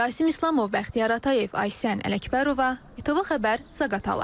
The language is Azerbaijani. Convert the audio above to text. Rasim İslamov, Bəxtiyar Atayev, Aysən Ələkbərova, ATV Xəbər, Zaqatala.